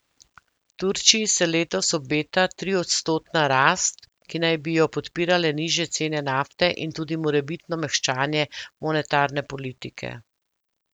Turčiji se letos obeta triodstotna rast, ki naj bi jo podpirale nižje cene nafte in tudi morebitno mehčanje monetarne politike.